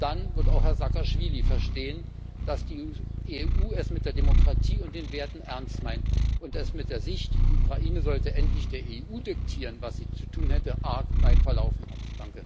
Nur dann wird auch Herr Saakaschwili verstehen, dass die EU es mit der Demokratie und den Werten ernst meint, und dass er sich mit der Aussicht, die Ukraine sollte endlich der EU diktieren, was sie zu tun hätte, arg weit verlaufen hat.